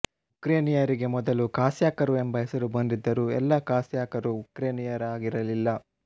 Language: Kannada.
ಉಕ್ರೇನಿಯನರಿಗೆ ಮೊದಲು ಕಾಸ್ಯಾಕರು ಎಂಬ ಹೆಸರು ಬಂದಿದ್ದರೂ ಎಲ್ಲ ಕಾಸ್ಯಾಕರೂ ಉಕ್ರೇನಿಯನರಾಗಿರಲಿಲ್ಲ